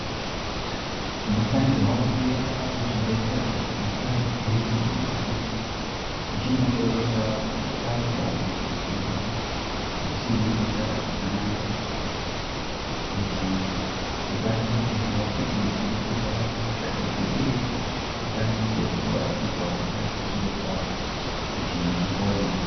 Tinofanirwa kuenda kuzvibhedhlera zviri padhuze nesu. Tichinohloiwa kana tazwa nyama dzedu dzisiri kuita zvakanaka. Kuti tikwanise kuziva kuti tirikurwara nehosha ipi, uye tikwanise kubatsirwa nana chiremba kuti tipone.